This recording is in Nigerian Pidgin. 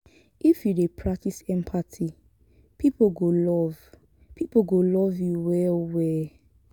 if you dey practice empathy pipo go love pipo go love you well-well.